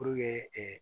Puruke ɛɛ